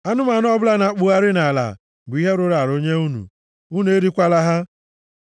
“ ‘Anụmanụ ọbụla na-akpụgharị nʼala bụ ihe rụrụ arụ nye unu. Unu erikwala ha.